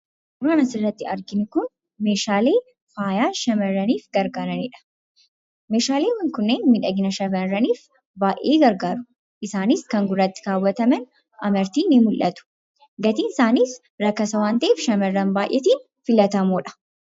Suuraan asirratti arginu Kun, Meeshaalee faayaa shamarraniif gargaaranidha. Meeshaaleen kunniin miidhagina shamaarraniif baayyee gargaaru. Isaanis kan gurratti kaawwataman amartiin ni mul'atu. Gatiin isaanis rakasa waan ta'eef shamarran baayyeetiif filatamoodha.